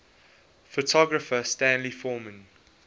photographer stanley forman